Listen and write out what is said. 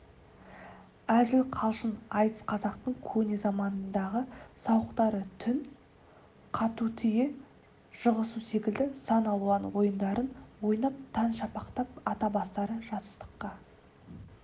әзіл-қалжың айтыс қазақтың көне заманындағы сауықтары түн қатутүйе жығусекілді сан алуан ойындарын ойнап таң шапақтап ата бастары жастыққа